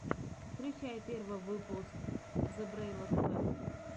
включи первый выпуск зебрэйла тв